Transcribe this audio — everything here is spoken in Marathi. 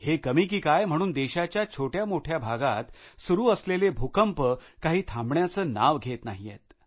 हे कमी कि काय म्हणून देशाच्या छोट्यामोठ्या भागात सुरु असलेले भूकंप काही थांबण्याचं नाव घेत नाहीत